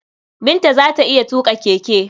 Binta za ta iya tuƙa keke.